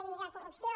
i que la corrupció